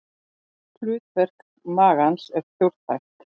Hlutverk magans er fjórþætt.